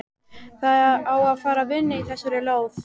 Það á að fara að vinna í þessari lóð.